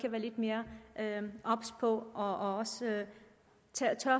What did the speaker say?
være lidt mere obs på og turde